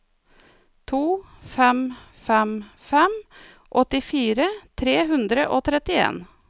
to fem fem fem åttifire tre hundre og trettien